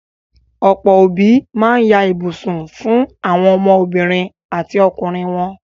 Ọ̀pọ́ òbí ma ń ya ibùsùn fún àwọn ọmọ obìnrin àti ọkùnrin wọn.